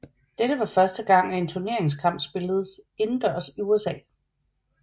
Dette var første gang at en turneringskamp spilledes udendørs i USA